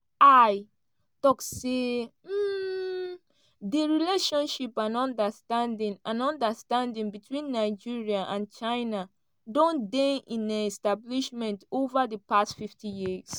xi tok say um di relationship and understanding and understanding between nigeria and china don dey in establishment ova di past fifty years.